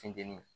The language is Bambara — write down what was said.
Funteni